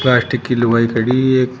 Plastic की लुगाई खड़ी है।